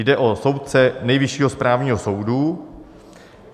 Jde o soudce Nejvyššího správního soudu.